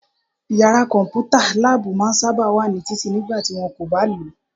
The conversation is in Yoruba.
Yàrá kọ̀mpútà/láàbù máa n sáábà wà ní títì nígbà tí wọ́n kò bá lòó